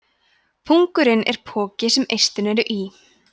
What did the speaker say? pungurinn er poki sem eistun eru í